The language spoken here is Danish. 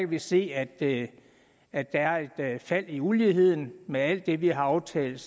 vi se at se at der er et fald i uligheden med alt det vi har aftalt